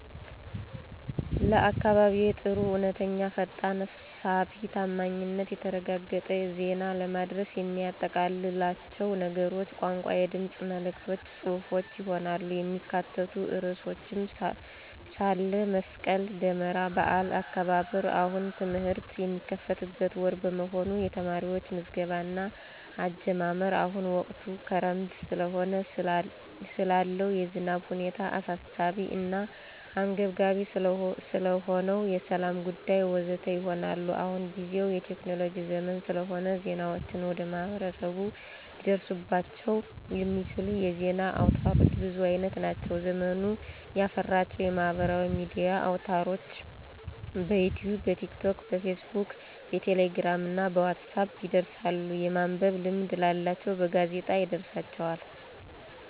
ለአካባቢየዬ ጥሩ፣ እውነተኛ፣ ፈጣን፣ ሳቢ፣ ታማኝነቱ የተረጋገጠ፣ ዜና ለማድረስ የሚያጠቃልላቸው ነገሮች፣ ቋንቋ፣ የድምፅ መልዕክቶች፣ ጽሑፎች፣ ይሆናሉ። የሚካተቱ ርዕሶችም፣ ስለ መስቀል ደመራ በዓል አከባበር፣ አሁን ትምህርት የሚከፈትበት ወር በመሆኑ የተማሪዎች ምዝገባ እና አጀማመር፣ አሁን ወቅቱ ክረምት ስለሆነ ስላለው የዝናብ ሁኔታ፣ አሳሳቢ እና አንገብጋቢ ስለሆነው የሠላም ጉዳይ፣...ወ.ዘ.ተ. ይሆናሉ። አሁንጊዜው የቴክኖሎጅ ዘመን ስለሆነ ዜናዎችን ወደ ማህበረሰቡ ሊደርሱባቸው የሚችሉ የዜና አውታሮች ብዙ አይነት ናቸው። ዘመኑ ያፈራቸው የማህበራዊ ሚዲያ አውታርሮች፦ በዩትዩብ፣ በቲክቶክ፣ በፌስ ቡክ፣ በቴሌግራም፣ በዋትሳፕ ይደርሳሉ፤ የማንበብ ልምድ ላላቸውም በጋዜጣ ይደርሳቸዋል።